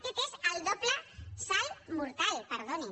aquest és el doble salt mortal perdonin